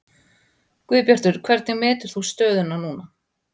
Guðbjartur hvernig metur þú stöðuna núna?